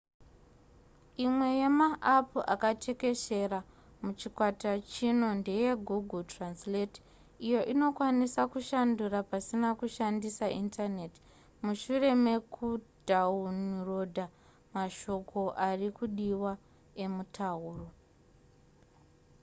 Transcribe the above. imwe yemaapu akatekeshera muchikwata chino ndeyegoogle translate iyo inoikwanisa kushandura pasina kushandisa indaneti mushure mekudhawunirodha mashoko ari kudiwa emutauro